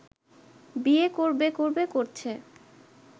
বিয়ে করবে করবে করছে